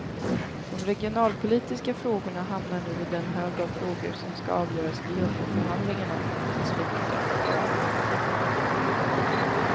De regionalpolitiska frågorna hamnar nu i den hög av frågor som skall avgöras vid jumboförhandlingarna i slutet av februari.